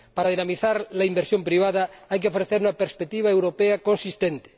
Para dinamizar la inversión privada hay que ofrecer una perspectiva europea consistente.